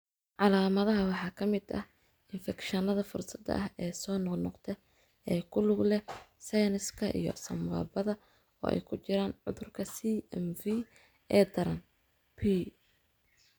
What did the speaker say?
Calaamadaha waxaa ka mid ah infekshannada fursadda ah ee soo noqnoqda ee ku lug leh sinuska iyo sambabada, oo ay ku jiraan cudurka CMV ee daran, P.